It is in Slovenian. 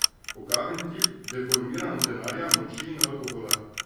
Ogaben tip, deformiran od denarja, moči in alkohola.